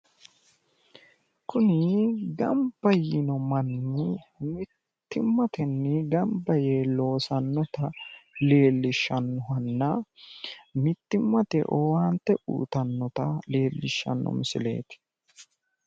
Kuni gamba yino manni mittimatenni gamba yee loosannota leellishshannohanna mittimate owaante uuyitannota leellishshanno misileeti.